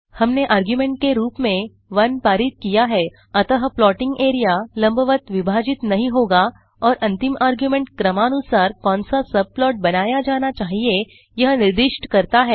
हमने आर्गुमेंट के रूप में 1 पारित किया है अतः प्लॉटिंग एरिया लंबवत विभाजित नहीं होगा और अंतिम आर्गुमेंट क्रमानुसार कौन सा सबप्लॉट बनाया जाना चाहिए यह निर्दिष्ट करता है